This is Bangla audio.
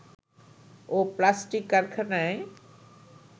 ও প্লাস্টিক কারখানায়